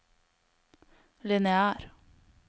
lineær